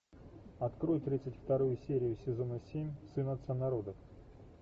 открой тридцать вторую серию сезона семь сын отца народов